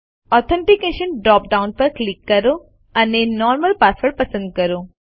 authentication drop down પર click કરો અને નોર્મલ પાસવર્ડ પસંદ કરો